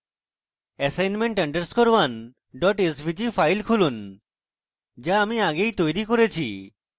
assignment _ 1 svg file খুলুন যা আমরা আগেই তৈরী করেছি